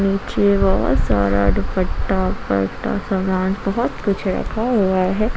नीचे बहुत सारा दुपट्टा पट्टा सामान बहुत कुछ रखा हुआ है।